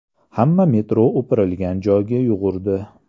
Hamma metro o‘pirilgan joyga yugurdi.